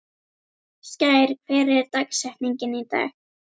Skær, hver er dagsetningin í dag?